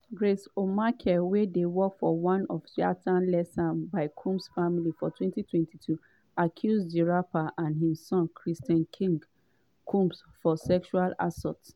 grace o'marcaigh wey work on one yacht leased by combs family for 2022 accuse di rapper and im son christian "king" combs of sexual assault.